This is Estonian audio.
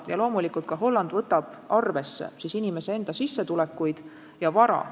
Ja loomulikult ka Holland võtab arvesse inimese enda sissetulekuid ja muud vara.